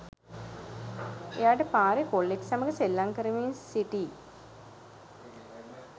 එයාට පාරේ කොල්ලෙක් සමග සෙල්ලම් කරමින් සිටි